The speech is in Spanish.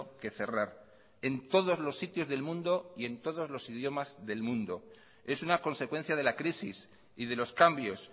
que cerrar en todos los sitios del mundo y en todos los idiomas del mundo es una consecuencia de la crisis y de los cambios